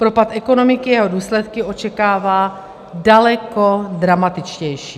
Propad ekonomiky a jeho důsledky očekává daleko dramatičtější.